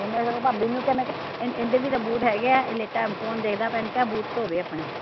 ਮੈਂ ਸਗੋਂ ਭਾਬੀ ਨੂ ਵੀ ਕਿਹਾ ਮੈਂ ਕਿਹਾ ਏਹਦੇ ਵੀ ਤਾਂ ਬੂਟ ਹੈਗੇ ਆ ਏਹ ਲੇਟਾ ਐ, ਫ਼ੋਨ ਦੇਖਦਾ ਪਿਆ ਏਹਨੂ ਕਹਿ ਬੂਟ ਧੋਵੇ ਅਪਣੇ